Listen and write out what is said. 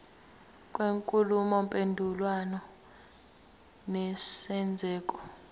kwenkulumo mpendulwano nesenzeko